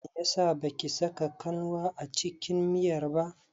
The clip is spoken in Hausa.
Meyasa baki saka kanwa a cikin miyar ba?